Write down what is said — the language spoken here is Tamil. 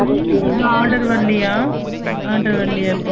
புது order வரலைய புது order வரலைய